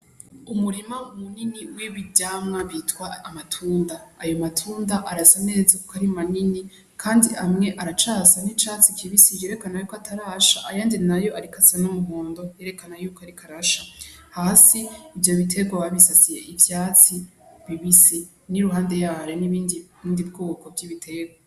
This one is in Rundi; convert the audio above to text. Umurima munini w'ivyamwa bitwa amatunda, ayo matunda arasa neza kuko arimanini kandi amwe aracasa n'icatsi kibisi yerekanayuko atarasha ayandi, nayo ariko asa n'umuhondo yerekana yuko ariko arasha hasi ivyo bitegwa babisasiye ivyatsi bibisi n'iruhande yaho n'ibindi bwoko bw'ibitegwa.